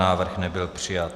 Návrh nebyl přijat.